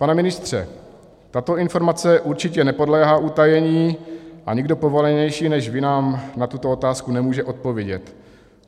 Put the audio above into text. Pane ministře, tato informace určitě nepodléhá utajení a nikdo povolanější než vy nám na tuto otázku nemůže odpovědět.